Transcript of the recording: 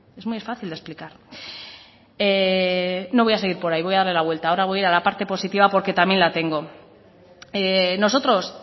es muy fácil de explicar no voy a seguir por ahí voy a darle la vuelta ahora voy a la parte positiva porque también la tengo nosotros